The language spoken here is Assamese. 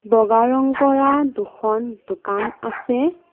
বগা ৰং কৰা দুখন দোকান আছে।